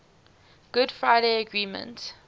good friday agreement